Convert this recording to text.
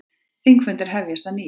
Þingfundir hefjast að nýju